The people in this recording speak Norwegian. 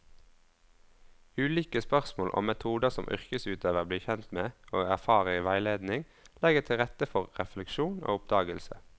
Ulike spørsmål og metoder som yrkesutøverne blir kjent med og erfarer i veiledning, legger til rette for refleksjon og oppdagelse.